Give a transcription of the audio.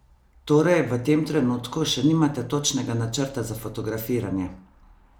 Torej v tem trenutku še nimate točnega načrta za fotografiranje?